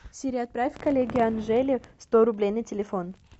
сири отправь коллеге анжеле сто рублей на телефон